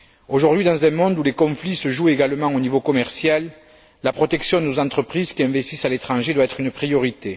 Aujourd'hui, dans un monde où les conflits se jouent également au niveau commercial, la protection de nos entreprises qui investissent à l'étranger doit être une priorité.